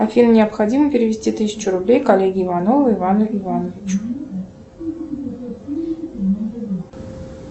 афина необходимо перевести тысячу рублей коллеге иванову ивану ивановичу